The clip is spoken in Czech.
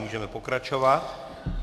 Můžeme pokračovat.